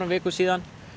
vikum síðan